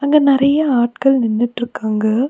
அங்க நெறைய ஆட்கள் நின்னுட்டு இருக்காங்க.